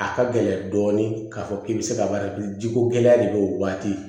A ka gɛlɛn dɔɔnin k'a fɔ k'i bɛ se ka baara kɛ jiko gɛlɛya de bɛ o waati